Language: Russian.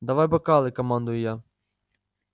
давай бокалы командую я